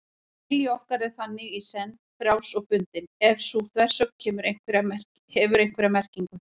Vilji okkar er þannig í senn frjáls og bundinn, ef sú þversögn hefur einhverja merkingu.